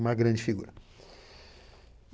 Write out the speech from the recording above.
Uma grande figura.